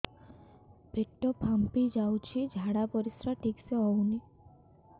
ପେଟ ଫାମ୍ପି ଯାଉଛି ଝାଡ଼ା ପରିସ୍ରା ଠିକ ସେ ହଉନି